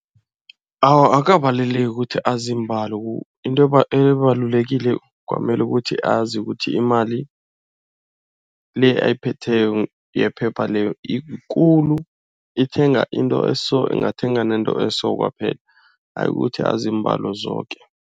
Awa akukabaluleki ukuthi azi iimbalo, into ebalulekile kwamele ukuthi azi ukuthi imali le oyiphetheko yephepha leyo yikulu. Ithenga into eso, ingathenga nento eso kwaphela. Ayi ukuthi azi iimbalo zoke.